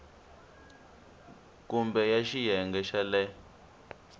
kumbe ya xiyenge xa le